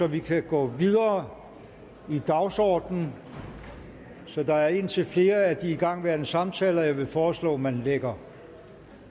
vi kan gå videre i dagsordenen så der er indtil flere af de igangværende samtaler jeg vil foreslå at man lægger